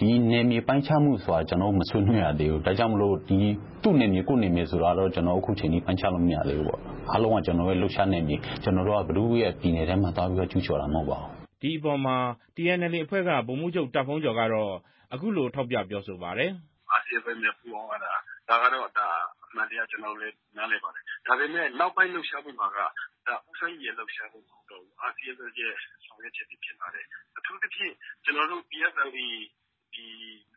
ဒီနယ်မြေပိုင်းခြားမှုဆိုတာ ကျနော်တို့ မဆွေးနွေးရသေးဘူး၊ ဒါကြောင့်မိုလို့ သူ့နယ်မြေ ကိုယ့်နယ်မြေဆိုတာကတော့ ကျနော်တို့ အခုချိန်ထိ ပိုင်းခြားလို့ မရသေးဘူးပေါ့၊ အားလုံးက ကျနော်တို့ရဲ့ လှုပ်ရှားနယ်မြေ ကျနော်တို့က ဘယ်သူရဲ့ပြည်နယ်ထဲမှာ သွားပြီးတော့ ကျူးကျော်တာ မဟုတ်ပါဘူး" ဒီအပေါ်မှာ TNLA အဖွဲ့က ဗိုလ်မှူးချုပ် တာ့ဘုန်းကျော် ကတော့ အခုလို ထောက်ပြပြောဆိုပါတယ်။ "RCSS နဲ့ ပူးပေါင်းသွားတာ၊ ဒါကတော့ အမှန်တရား ကျနော်တို့လည်း နားလည်ပါတယ်၊ ဒါပေမဲ့ နောက်ပိုင်း လှုပ်ရှားမှုမှာက ဒါ ဦးစိုင်းရီရဲ့ လှုပ်ရှားမှု မဟုတ်တော့ဘူး RCSS ရဲ့ ဆောင်ရွက်ချက်တွေဖြစ်ပါတယ်။ အထူးသဖြင့် ကျနော်တို့ PSLA ဒီ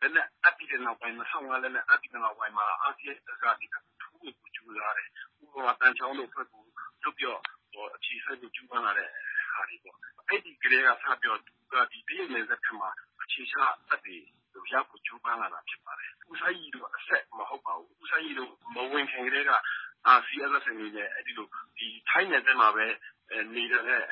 လက်နက်အပ်ပြီးနောက်ပိုင်း ၂၀၀၅ လက်နက်အပ်ပြီးနောက်ပိုင်းမှာRCSS က ဒီဘက်ကို ထိုးဖို့ကြိုးစားတယ်၊ ဥပမာ သံချောင်းတို့အဖွဲ့ကို လွှတ်ပြီးတော့ အခြေစိုက်ဖို့ ကြိုးပမ်းလာတဲ့ဟာတွေပေါ့၊ အဲဒီကတည်းကစပြီးတော့ သူတို့က ဒီ တရုတ်နယ်စပ်တချို့မှာ အခြေချတပ်တွေလှုပ်ရှားဖို့ ကြိုးပမ်းလာတာ ဖြစ်ပါတယ်။ ဦးစိုင်းရီ တို့ အဆက်မဟုတ်ပါဘူး၊ ဦးစိုင်းရီ တို့ မဝင်ခင်ကတည်းက RCSS နယ်မြေနဲ့ အဲဒီလို ထိုင်းနယ်စပ်မှာပဲ နေနေတဲ့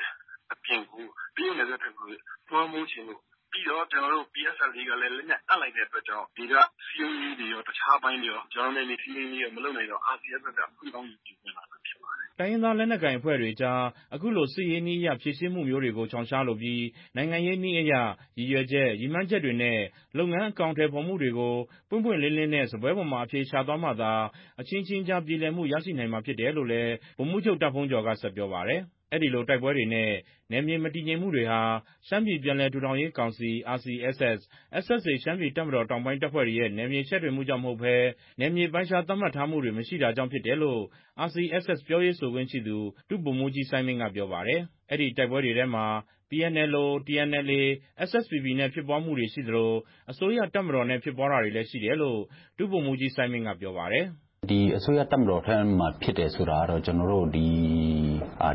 အပြင်ကို တရုတ်နယ်စပ်ဘက်ကို လွှမ်းမိုးချင်လို့ ပြီးတော့ ကျနော်တို့ PSLA ကလည်း လက်နက်အပ်လိုက်တဲ့အတွက်ကြောင့် ဒီက ဒေသစည်းရုံးရေးတွေရော တခြားအပိုင်းတွေရော ကျနော်တို့ နယ်မြေထိန်းသိမ်းရေးမလုပ်နိုင်တော့ RCSS က အခွင့်ကောင်းယူပြီး ဝင်လာတာ ဖြစ်ပါတယ်။" တိုင်းရင်းသား လက်နက်ကိုင်အဖွဲ့တွေအကြား အခုလို စစ်ရေးနည်းအရ ဖြေရှင်းမှုမျိုးတွေကို ရှောင်ရှားလိုပြီး နိုင်ငံရေးနည်းအရ ရည်ရွယ်ချက် ရည်မှန်းချက်တွေနဲ့ လုပ်ငန်းအကောင်အထည်ဖော်မှုတွေကို ပွင့်ပွင့်လင်းလင်းနဲ့ စားပွဲပေါ်မှာ အဖြေရှာသွားမှသာ အချင်းချင်းကြား ပြေလည်မှုရရှိနိုင်မှာ ဖြစ်တယ်လို့လည်း ဗိုလ်မှူးချုပ် တာ့ဘုန်းကျော် က ဆက်ပြောပါတယ်။ အဲဒီလိုတိုက်ပွဲတွေနဲ့ နယ်မြေ မတည်ငြိမ်မှုတွေဟာ ရှမ်းပြည်ပြန်လည်ထူထောင်ရေး ကောင်စီ RCSS/SSA ရှမ်းပြည်တပ်မတော်တောင်ပိုင်းတပ်ဖွဲ့တွေရဲ့ နယ်မြေချဲ့ထွင်မှုကြောင့် မဟုတ်ဘဲ နယ်မြေပိုင်းခြား သတ်မှတ်ထားမှုတွေ မရှိတာကြောင့် ဖြစ်တာလို့ RCSS ပြောရေးဆိုခွင့်ရှိသူ ဒုဗိုလ်မှူးကြီး စိုင်းမိဏ်း က ပြောပါတယ်။ အဲဒီတိုက်ပွဲတွေထဲမှာ PNLO, TNLA, SSPP နဲ့ ဖြစ်ပွားမှုတွေ ရှိသလို အစိုးရတပ်မတော်နဲ့ ဖြစ်ပွားတာတွေရှိတယ်လို့ ဒု ဗိုလ်မှူးကြီး စိုင်းမိဏ်း က ပြောပါတယ်။ "ဒီအစိုးရတပ်မတော်ဘက်မှာဖြစ်တယ်ဆိုတာကတော့ ကျနော်တို့ ဒီ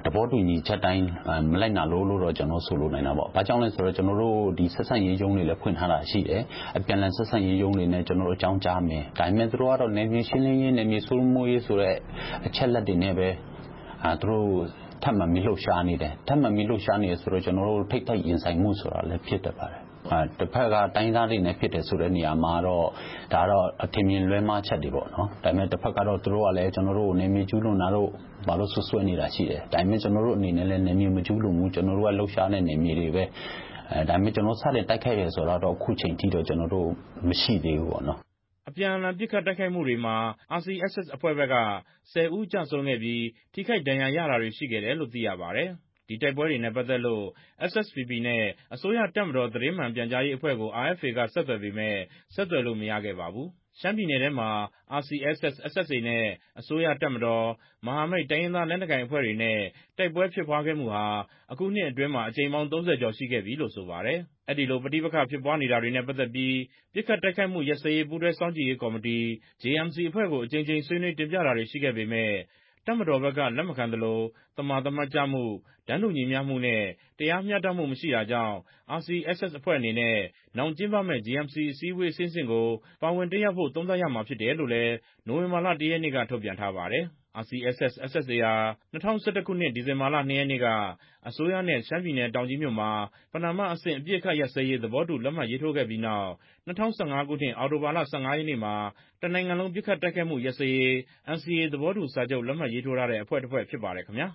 သဘောတူညီချက်အတိုင်း မလိုက်နာလို့ ကျနော်တို့ ဆိုလိုနိုင်တာပေါ့၊ ဘာကြောင့်လဲဆိုတော့ ကျနော်တို့ ဒီဆက်ဆံရေးရုံးတွေလည်း ဖွင့်ထားတာရှိတယ်၊ အပြန်အလှန် ဆက်ဆံရေးရုံးတွေနဲ့ ကျနော်တို့ အကြောင်းကြားမယ်၊ ဒါပေမဲ့ သူတို့ကတော့ နယ်မြေရှင်းလင်းရေး နယ်မြေစိုးမိုးရေးဆိုတဲ့ အချက်အလက်တွေနဲ့ပဲ သူတို့ထပ်မံပြီး လှုပ်ရှားနေတယ်။ ထပ်မံပြီး လှုပ်ရှားနေတယ် ဆိုတော့ ကျနော်တို့ ထိပ်တိုက်ရင်ဆိုင်မှုဆိုတာလည်း ဖြစ်တတ်ပါတယ်။ တဘက်က တိုင်းရင်းသားတွေနဲ့ ဖြစ်တယ်ဆိုတဲ့နေရာမှာကတော့ ဒါကတော့ အထင်အမြင် လွဲမှားချက်တွေပေါ့နော်၊ ဒါပေမဲ့ တဖက်ကတော့ သူတို့ကလည်း ကျနော်တို့ကို နယ်မြေကျူးလွန်တာတို့ ဘာတို့ စွပ်စွဲနေတာရှိတယ် ဒါပေမဲ့ ကျနော်တို့အနေနဲ့ လည်း နယ်မြေမကျူးလွန်ဘူး ကျနော်တို့က လှုပ်ရှားတဲ့နယ်မြေတွေပဲ ဒါပေမဲ့ ကျနော်တို့ စတင်တိုက်ခိုက်တယ် ဆိုတာကတော့ အခုချိန်ထိတော့ ကျနော်တို့မရှိသေးဘူးပေါ့" အပြန်အလှန်ပစ်ခတ်တိုက်ခိုက်မှုတွေမှာ RCSS အဖွဲ့ဘက်က ၁၀ ဦးကျဆုံးခဲ့ပြီး ထိခိုက်ဒဏ်ရာရတာတွေ ရှိခဲ့တယ်လို့ သိရပါတယ်။ ဒီတိုက်ပွဲတွေနဲ့ ပတ်သက်လို့ SSPP နဲ့ အစိုးရတပ်မတော် သတင်းမှန်ပြန်ကြားရေးအဖွဲ့ကို RFA က ဆက်သွယ်ပေမဲ့ ဆက်သွယ်လို့ မရခဲ့ပါဘူး။ ရှမ်းပြည်နယ်ထဲမှာ RCSS/SSA နဲ့ အစိုးရတပ်မတော်၊ မဟာမိတ်တိုင်းရင်းသား လက်နက်ကိုင် အဖွဲ့တွေနဲ့ တိုက်ပွဲဖြစ်ပွားခဲ့မှုဟာ အခုနှစ်အတွင်းမှာ အကြိမ်ပေါင်း ၃၀ ကျော်ရှိခဲ့ပြီလို့ ဆိုပါတယ်။ အဲဒီလိုပဋိပက္ခဖြစ်ပွားနေတာတွေနဲ့ ပတ်သက်ပြီး ပစ်ခတ်တိုက်ခိုက်မှုရပ်စဲရေး ပူးတွဲစောင့်ကြည့်ရေးကော်မတီ JMC အဖွဲ့ကို အကြိမ်ကြိမ်ဆွေးနွေး တင်ပြတာတွေရှိခဲ့ပေမဲ့ တပ်မတော်ဘက်က လက်မခံသလို သမာသမတ်ကျမှု၊ တန်းတူညီမျှမှုနဲ့ တရားမျှတမှုမရှိတာကြောင့် RCSS အဖွဲ့အနေနဲ့ နောင်ကျင်းပမယ့် JMC အစည်းအဝေးအဆင့်ဆင့်ကို ပါဝင်တက်ရောက်ဖို့ သုံးသပ်ရမှာဖြစ်တယ်လို့လည်း နိုဝင်ဘာလ ၁ ရက်နေ့က ထုတ်ပြန်ထားပါတယ်။ RCSS/SSA ဟာ ၂၀၁၁ ခုနှစ် ဒီဇင်ဘာ ၂ ရက်နေ့က အစိုးရနဲ့ ရှမ်းပြည်နယ် တောင်ကြီးမြို့မှာ ပဏာမအဆင့် အပစ်အခတ်ရပ်စဲရေး သဘောတူ လက်မှတ်ရေးထိုးခဲ့ပြီးနောက် ၂၀၁၅ ခုနှစ် အောက်တိုဘာလ ၁၅ ရက်နေ့မှာ တစ်နိုင်ငံလုံး ပစ်ခတ်တိုက်ခိုက်မှုရပ်စဲရေး NCA သဘောတူစာချူပ် လက်မှတ်ရေးထိုးထားတဲ့အဖွဲ့တစ်ဖွဲ့ ဖြစ်ပါတယ်ခင်ဗျာ။